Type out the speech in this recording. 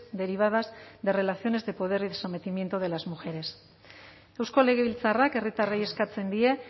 derivadas de relaciones de poder y de sometimiento de las mujeres eusko legebiltzarrak herritarrei eskatzen die